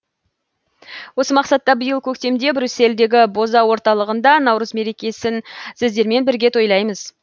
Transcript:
осы мақсатта биыл көктемде брюссельдегі боза орталығында наурыз мерекесін сіздермен бірге тойлаймыз